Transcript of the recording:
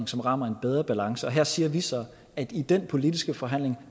som rammer en bedre balance og her siger vi så at vi i den politiske forhandling